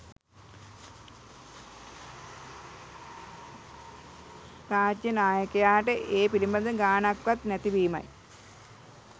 රාජ්‍ය නායකයාට ඒ පිළිබඳව ගාණක්වත් නැති වීමයි